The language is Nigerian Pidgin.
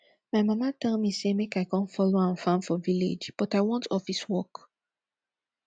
my mama tell me say make i come follow am farm for village but i want office work